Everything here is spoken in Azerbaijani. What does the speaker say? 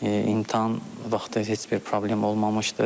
İmtahan vaxtı heç bir problem olmamışdır.